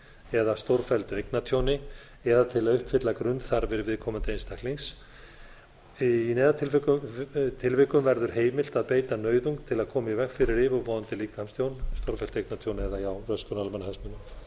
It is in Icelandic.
eða stórfelldu eignatjóni eða til að uppfylla grunnþarfir viðkomandi einstaklings í neyðartilvikum verður heimilt að beita nauðung til að koma í veg fyrir yfirvofandi líkamstjón stórfellt eignatjón eða röskun á almannahagsmunum